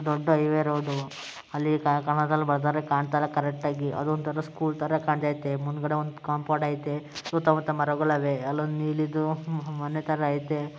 ದೊಡ್ಡ್ highway road ಅಲ್ಲಿ ಕಲ್ ಕಲರಲ್ಲಿ ಬರ್ದೋರೆ ಕಾಣ್ತಿಲ್ಲ ಕರೆಕ್ಟಾಗಿ ಅದು ಒಂತರ ಸ್ಕೂಲ್ ತರ ಕಾಣ್ತಾ ಇದೆ ಮುಂದಗಡೆ ಒಂದು ಕಾಂಪೌಂಡ್ ಐತೆ ಸುತ್ತ ಮುತ್ತ ಮರಗಳ್ ಐತೆ ಅದು ಅಲ್ಲೊಂದ್ ನೀಲಿದು ತರ ಮನೆ ಐತೆ.